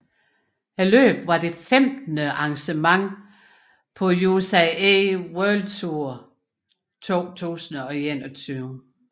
Løbet var det femtende arrangement på UCI World Tour 2021